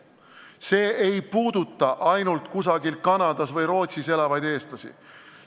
See ei puuduta ainult kusagil Kanadas või Rootsis elavad eestlasi.